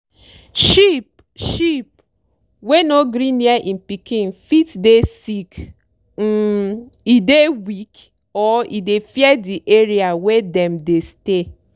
sheep sheep wey no gree near im pikin fit dey sick um e dey weak or e dey fear di area wey dem dey stay.